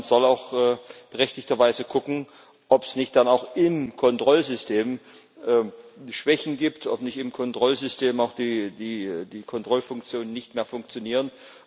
Man soll auch berechtigter Weise gucken, ob es nicht dann auch im Kontrollsystem Schwächen gibt, ob nicht im Kontrollsystem auch die Kontrollfunktionen nicht mehr funktionieren.